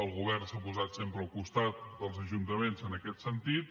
el govern s’ha posat sempre al costat dels ajuntaments en aquest sentit